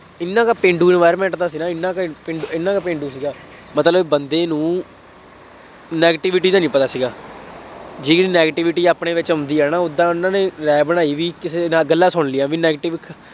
ਇਹਨਾ ਦਾ ਪੇਂਡੂ environment ਦਾ ਸੀ ਨਾ, ਇਹਨਾ ਦੇ ਪਿੰਡ, ਇਹਨਾ ਦਾ ਪੇਂਡੂ ਸੀਗਾ, ਮਤਲਬ ਬੰਦੇ ਨੂੰ negativity ਦਾ ਨਹੀਂ ਪਤਾ ਸੀਗਾ, ਜੇ ਕਿਤੇ negativity ਆਪਣੇ ਵਿੱਚ ਹੁੰਦੀ ਹੈ ਨਾ, ਉਦਾਂ ਉੇਹਨਾ ਨੇ ਰਾਇ ਬਣਾਈ ਬਈ ਕਿਸੇ ਨਾਲ ਗੱਲਾਂ ਸੁਣ ਲਈਆਂ ਬਈ negativ